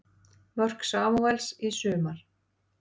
Mörk Samúels í sumar